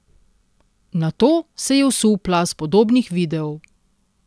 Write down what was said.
Nato se je vsul plaz podobnih videov ...